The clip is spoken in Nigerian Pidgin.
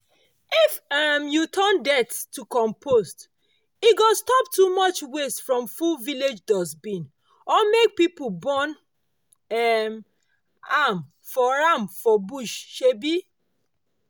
if um you turn dirt to compost e go stop too much waste from full village dustbin or make people burn um am for am for bush. um